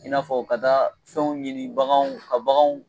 I n'a fɔ ka taa fɛnw ɲini baganw ka baganw